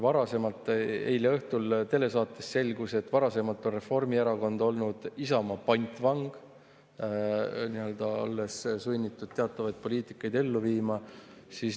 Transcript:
Eile õhtul telesaates selgus, et varasemalt on Reformierakond olnud Isamaa pantvang, olles sunnitud teatavaid poliitikaid ellu viima.